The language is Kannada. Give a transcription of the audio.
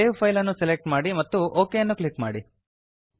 ಸೇವ್ ಫೈಲ್ ಅನ್ನು ಸೆಲೆಕ್ಟ್ ಮಾಡಿ ಮತ್ತು ಒಕ್ ಅನ್ನು ಕ್ಲಿಕ್ ಮಾಡಿ